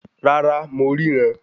Rárá, mo ríran